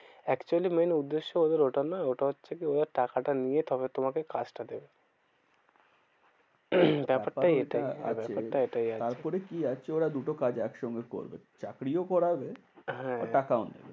Actually main উদ্দেশ্য ওদের ওটা নয় ওটা হচ্ছে কি? ওদের টাকাটা নিয়ে তবে তোমাকে কাজটা দেবে। ব্যাপারটা এটাই ব্যাপারটা এটাই আছে। তারপরে কি আছে? ওরা দুটো কাজ একসঙ্গে করবে চাকরিও করাবে, হ্যাঁ টাকাও নেবে।